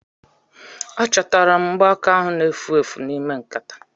Achọtara m mgbaaka ahu na-efu efu n'ime nkataa